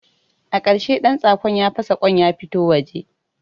A ƙarshe ɗantsakon ya fasa kwan ya fito waje